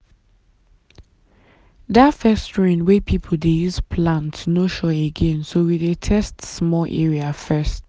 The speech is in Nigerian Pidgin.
that first rain wey people dey use plant no sure again so we dey test small area first.